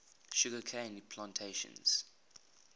sugar cane plantations